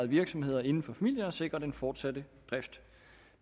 virksomheder inden for familierne og sikre den fortsatte drift